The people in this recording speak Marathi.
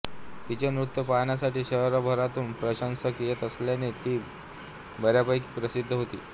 तिचे नृत्य पाहण्यासाठी शहरभरातून प्रशंसक येत असल्याने ती बऱ्यापैकी प्रसिद्ध होती